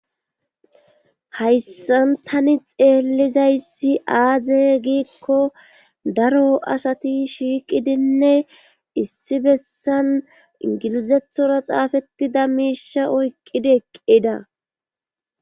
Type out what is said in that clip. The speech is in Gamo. Hayssan tani xeellizayssi aaze giikko daro asati shiiqidinne issi bessan ingilizethora xaafettida miisha oyqqidi eqqida.